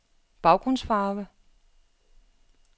baggrundsfarve